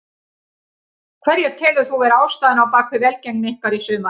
Hverja telur þú vera ástæðuna á bakvið velgengni ykkar í sumar?